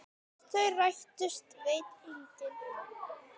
Hvort þau rættust veit enginn.